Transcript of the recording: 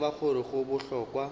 re tseba gore go bohlokwa